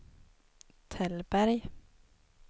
Tällberg